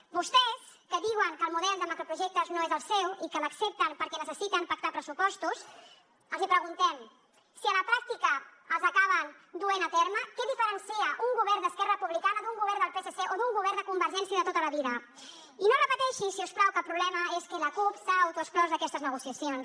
a vostès que diuen que el model de macroprojectes no és el seu i que l’accepten perquè necessiten pactar pressupostos els hi preguntem si a la pràctica els acaben duent a terme què diferencia un govern d’esquerra republicana d’un govern del psc o d’un govern de convergència de tota la vida i no repeteixi si us plau que el problema és que la cup s’ha autoexclòs d’aquestes negociacions